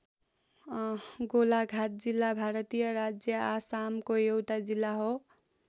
गोलाघाट जिल्ला भारतीय राज्य आसामको एउटा जिल्ला हो।